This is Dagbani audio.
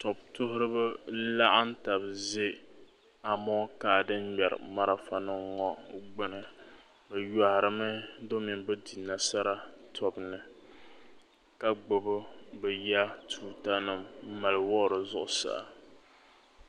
Tɔbu tuhiriba n-laɣim taba n-ʒe amonkaa din ŋmɛri marifanima ŋɔ gbuni bɛ yohirimi domi bɛ di nasara tobu ni ka gbubi bɛ ya tuutanima m-mali wuhiri zuɣusaa.